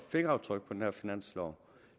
fingeraftryk på den her finanslov